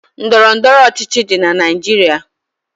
Ndọrọ ndọrọ ọchịchị dị na Naịjirịa.